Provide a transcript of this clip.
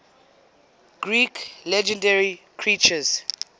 greek legendary creatures